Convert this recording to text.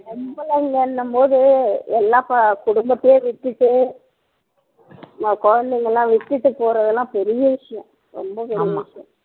போது எல்லாம் குடும்பத்தையே விட்டுட்டு ஆஹ் குழந்தைங்க எல்லாம் விட்டுட்டு போறதெல்லாம் பெரிய விஷயம் ரொம்ப பெரிய விஷயம்